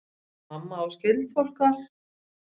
Mamma á skyldfólk þar.